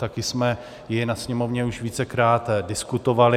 Také jsme ji ve Sněmovně už vícekrát diskutovali.